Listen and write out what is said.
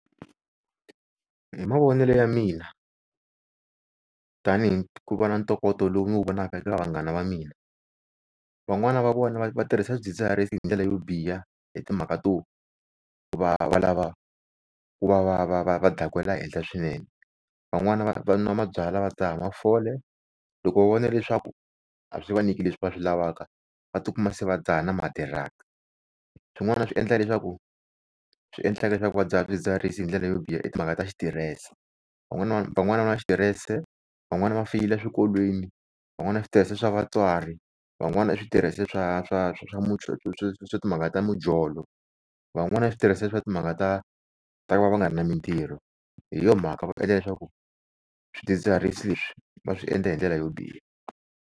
Hi mavonele ya mina tani hi ku va na ntokoto lowu ni wu vonaka eka vanghana va mina, van'wana va vona va va tirhisa swidzidziharisi hindlela yo biha hi timhaka to ku va va lava ku va va va va va dakwela henhla swinene. Van'wani va va n'wa mabyalwa va dzaha mafole, loko va vona leswaku a swi vanyiki leswi va swi lavaka va tikuma se va dzahna na ma-drugs-i. Swin'wana swi endla leswaku swi endlaka leswaku va dzaha swidzidziharisi hindlela yo biha i timhaka ta xiterese. Van'wani va van'wana va na xitirese, van'wani va feyila swikolweni, van'wana va na switirese swa vatswari van'wana va na switirese swa swa swa swa timhaka ta mujolo. Van'wana va na switirese swa timhaka ta ku va va nga ri na mintirho hi yona mhaka va phela leswaku swidzidziharisi va swi endla hindlela yo biha.